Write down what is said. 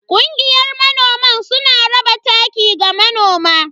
Kungiyar manoman suna raba taki ga manoma.